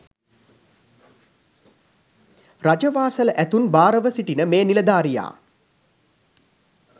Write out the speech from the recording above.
රජ වාසල ඇතුන් භාර ව සිටින මේ නිලධාරියා